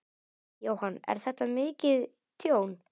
Jóhann: Er þetta mikið tjón?